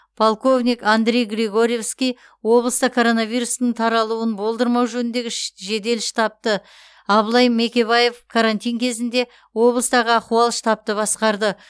полковник андрей григоревский облыста коронавирустың таралуын болдырмау жөніндегі жедел штабты абылай мекебаев карантин кезінде облыстағы ахуал штабты басқарды